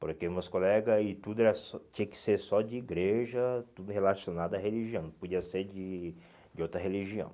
porque meus colegas e tudo era só tinha que ser só de igreja, tudo relacionado à religião, não podia ser de de outra religião.